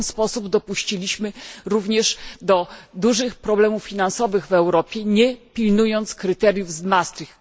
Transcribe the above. W ten sposób dopuściliśmy również do dużych problemów finansowych w Europie, nie pilnując kryteriów z Maastricht.